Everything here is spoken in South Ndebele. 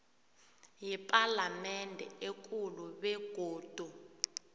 yepalamende ekulu begodu